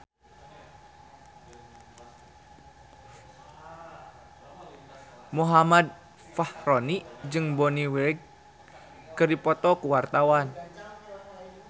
Muhammad Fachroni jeung Bonnie Wright keur dipoto ku wartawan